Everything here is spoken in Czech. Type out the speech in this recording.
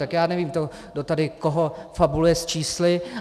Tak já nevím, kdo tady koho fabuluje s čísly.